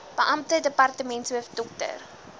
beampte departementshoof dr